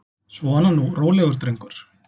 Svona nú, rólegur drengur.